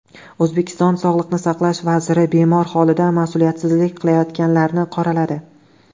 O‘zbekiston sog‘liqni saqlash vaziri bemor holida mas’uliyatsizlik qilayotganlarni qoraladi.